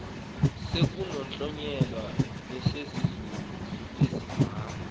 kusenokuhlonyelwa nesesenziwa isimamva